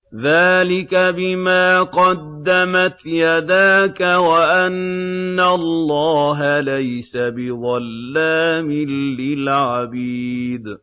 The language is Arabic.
ذَٰلِكَ بِمَا قَدَّمَتْ يَدَاكَ وَأَنَّ اللَّهَ لَيْسَ بِظَلَّامٍ لِّلْعَبِيدِ